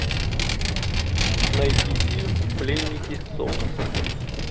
найди фильм пленники солнца